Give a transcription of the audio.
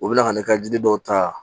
U bɛ na ka ne ka jiri dɔw ta